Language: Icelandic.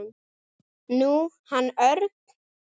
Nú, hann Örn.